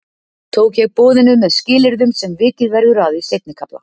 Tók ég boðinu með skilyrðum sem vikið verður að í seinni kafla.